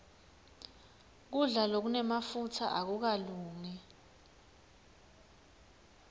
kudla lokunemafutsa akukalungi